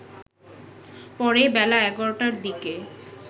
পরে বেলা ১১টার দিকে